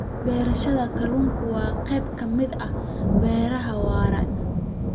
Beerashada kalluunka waa qayb ka mid ah beeraha waara.